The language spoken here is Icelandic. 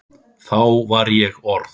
Þá var ég orð